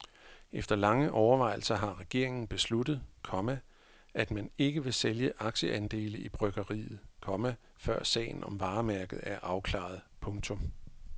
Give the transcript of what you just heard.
Efter lange overvejelser har regeringen besluttet, komma at man ikke vil sælge aktieandele i bryggeriet, komma før sagen om varemærket er afklaret. punktum